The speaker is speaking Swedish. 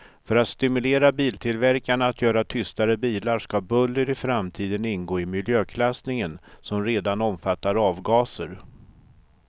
För att stimulera biltillverkarna att göra tystare bilar ska buller i framtiden ingå i miljöklassningen, som redan omfattar avgaser.